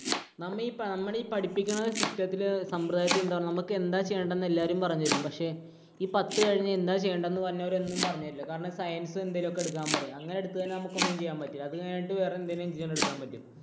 നമ്മെ ഈ നമ്മുടെ ഈ പഠിപ്പിക്കുന്ന system ത്തില് സമ്പ്രദായത്തിലെ എന്താ നമ്മൾ എന്താ ചെയ്യേണ്ടത് എന്ന് എല്ലാവരും പറഞ്ഞു തരും. പക്ഷേ ഈ പത്തു കഴിഞ്ഞ് എന്താ ചെയ്യേണ്ടത് എന്ന് വരുന്നവർ ഒന്നും പറഞ്ഞുതരില്ല. കാരണം science എന്തെങ്കിലുമൊക്കെ എടുക്കാൻ പറയും. അങ്ങനെ എടുത്തു കഴിഞ്ഞാൽ നമുക്ക് ഒന്നും ചെയ്യാൻ പറ്റില്ല. അതുകഴിഞ്ഞിട്ട് വേറെ എന്തെങ്കിലും ചെയ്യാൻ എടുക്കാൻ പറ്റും